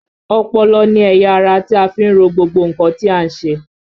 Ọpọlọ ni ẹ̀yà ara tí a fi ń ro gbogbo nǹkan tí à ń ṣe